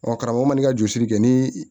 Ɔ karamɔgɔ man n'i ka jɔsili kɛ ni